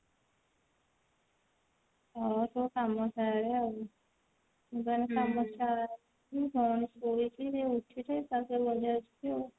ହଉ ତୁ କାମ ସାରେ ଆଉ ମୁଁ ତାହାଲେ କାମ